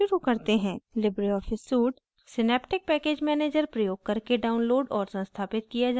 libreoffice suite synaptic package manager प्रयोग करके downloaded और संस्थापित किया जा सकता है